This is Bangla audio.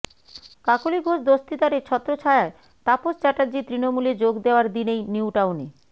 কাকলি ঘোষ দস্তিদারের ছত্রছায়ায় তাপস চ্যাটার্জি তৃণমূলে যোগ দেওয়ার দিনেই নিউটাউনে